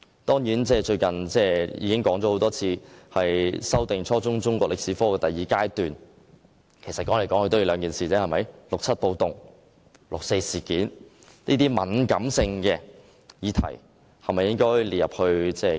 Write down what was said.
我最近多番指出，修訂初中中國歷史科的第二階段，主要針對應否將六七暴動及六四事件這兩個敏感議題納入課程之內。